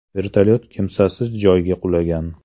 Vertolyot kimsasiz joyga qulagan.